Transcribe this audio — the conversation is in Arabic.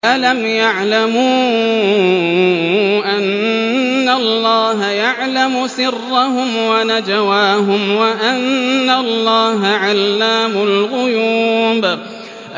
أَلَمْ يَعْلَمُوا أَنَّ اللَّهَ يَعْلَمُ سِرَّهُمْ وَنَجْوَاهُمْ وَأَنَّ اللَّهَ عَلَّامُ الْغُيُوبِ